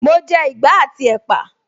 Mo jẹ ìgbá àti ẹ́pà